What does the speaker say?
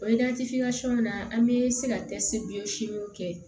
O na an bɛ se ka dɛsɛ bi kɛ